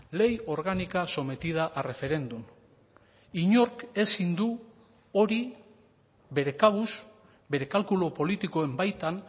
ley orgánica sometida a referéndum inork ezin du hori bere kabuz bere kalkulu politikoen baitan